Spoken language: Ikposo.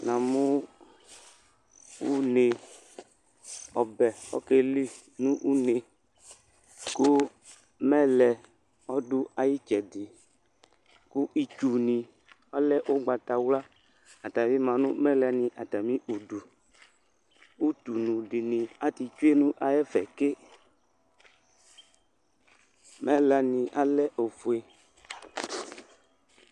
Na mʋ une, ɔbɛ oƙeli nʋ une, ƙʋ mɛlɛ ɔɖʋ aƴʋ ɩtsɛɖɩƘʋ itsu nɩ alɛ ʋgbatawla ata bɩ ma nʋ mɛlɛ nɩ atamɩ uɖuUtunu ɖɩ nɩ atɩtsue nʋ ɛfɛ ƙeMɛlɛ nɩ alɛ ofue